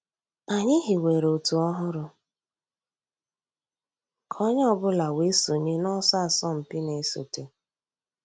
Ànyị̀ hìwèrè ọ̀tù òhụ́rù kà ònyè ọ̀ bula wée sọǹyé n'ọ̀sọ̀ àsọ̀mpị̀ nà-èsọ̀té.